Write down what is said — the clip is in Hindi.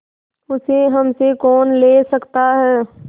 उसे हमसे कौन ले सकता है